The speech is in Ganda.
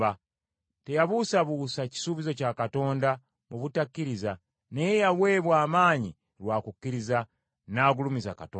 Teyabuusabuusa kisuubizo kya Katonda mu butakkiriza, naye yaweebwa amaanyi lwa kukkiriza; n’agulumiza Katonda.